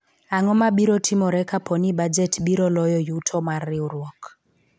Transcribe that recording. ang'o mabiro timore kapo ni bajet biro loyo yuto mar riwruok ?